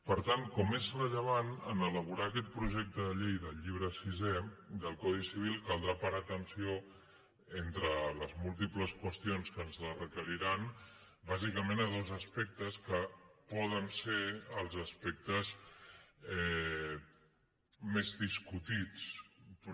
per tant com és rellevant en elaborar aquest projecte de llei del llibre sisè del codi civil caldrà parar atenció entre les múltiples qüestions que ens la requeriran bàsicament a dos aspectes que poden ser els aspectes més discutits però